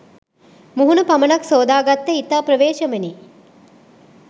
මුහුණ පමණක් සෝදාගත්තේ ඉතා ප්‍රවේශමෙනි